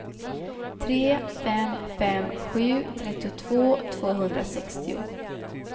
tre fem fem sju trettiotvå tvåhundrasextio